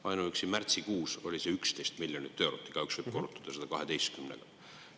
Ainuüksi märtsikuus oli see 11 miljonit eurot, igaüks võib korrutada selle 12-ga.